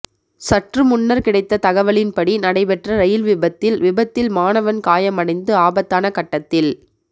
சற்று முன்னர் கிடைத்த தகவலின்படி நடைபெற்ற ரயில் விபத்தில் விபத்தில் மாணவன் காயமடைந்து ஆபத்தான கட்டத்தில்